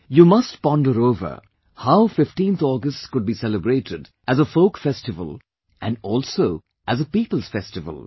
You must ponder over the fact how 15th August could be celebrated as a folkfestival and also as a people's festival